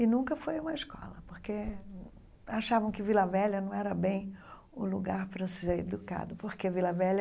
E nunca foi uma escola, porque achavam que Vila Velha não era bem o lugar para ser educado, porque Vila Velha